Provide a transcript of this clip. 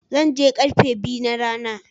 Zan je karfe biyu na rana.